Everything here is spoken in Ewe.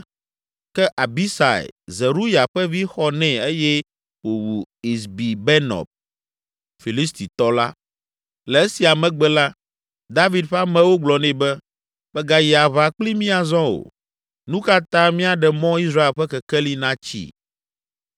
Ke Abisai, Zeruya ƒe vi xɔ nɛ eye wòwu Isbibenɔb, Filistitɔ la. Le esia megbe la, David ƒe amewo gblɔ nɛ be, “Màgayi aʋa kpli mí azɔ o! Nu ka ta míaɖe mɔ Israel ƒe kekeli natsi?”